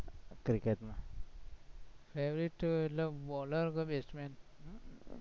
cricket માં favorite bowler કે batsman